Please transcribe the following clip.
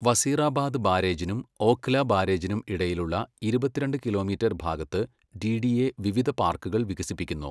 വസീറാബാദ് ബാരേജിനും ഓഖ്ല ബാരേജിനും ഇടയിലുള്ള ഇരുപത്തിരണ്ട് കിലോമീറ്റർ ഭാഗത്ത് ഡിഡിഎ വിവിധ പാർക്കുകൾ വികസിപ്പിക്കുന്നു.